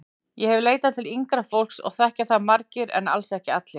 Ég hef leitað til yngra fólks og þekkja það margir en alls ekki allir.